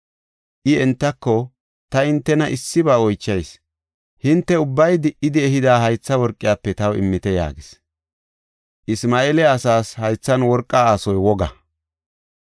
I entako, “Ta hintena issiba oychayis; hinte ubbay di77idi ehida haytha worqiyafe taw immite” yaagis. (Isma7eela asaas haythan worqa aasoy woga.)